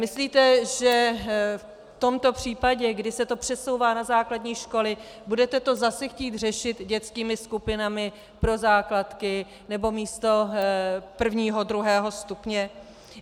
Myslíte, že v tomto případě, kdy se to přesouvá na základní školy, budete to zase chtít řešit dětskými skupinami pro základky nebo místo prvního, druhého stupně?